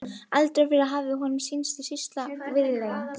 Aldrei fyrr hafði honum sýnst sýslan svo víðlend.